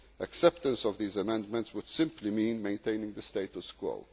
national quotas. Acceptance of these amendments would simply mean maintaining